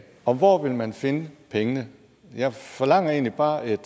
og hvor vil man finde pengene jeg forlanger egentlig bare et